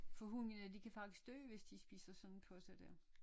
For hunde de kan faktisk dø hvis de spiser sådan poser der